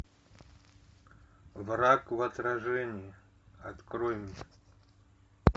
враг в отражении открой мне